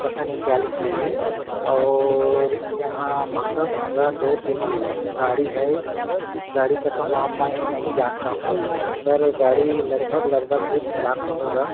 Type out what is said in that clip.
पता नहीं क्या लिखा है और यहाँ महंगा -महंगा दो तीन गाड़ी है इस गाड़ी का तो नाम मैं नहीं जानता हुँ पर ये गाड़ी लगभग-लगभग दो- तीन लाख का होगा।